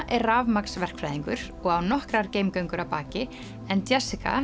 er rafmagnsverkfræðingur og á nokkrar að baki en